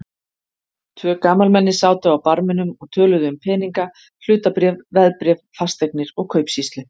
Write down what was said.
Tvö gamalmenni sátu á barminum og töluðu um peninga, hlutabréf, veðbréf, fasteignir og kaupsýslu.